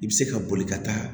I bɛ se ka boli ka taa